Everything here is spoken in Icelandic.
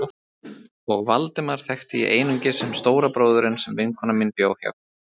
Og Valdemar þekkti ég einungis sem stóra bróðurinn sem vinkona mín bjó hjá.